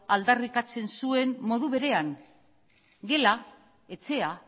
aldarrikatzen zuen modu berean gela etxea